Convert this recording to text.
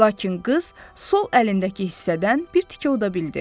Lakin qız sol əlindəki hissədən bir tikə uda bildi.